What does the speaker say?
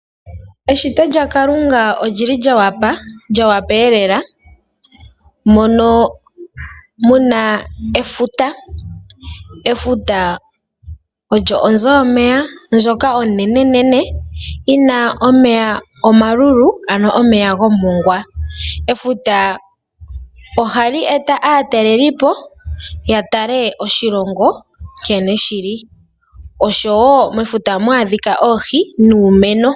Eshito lyaKalunga oli li lyo opala, lyo opala lela. Omu na efuta. Efuta oyo onzo yomeya ndjoka onene nene yi na omeya omalulu, ano omeya goshimongwa. Efuta ohali eta aatalelipo ya tale oshilongo nkene shi li oshowo mefuta ohamu adhika oohi nuumeno.